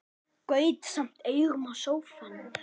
Gaut samt augum á sófann.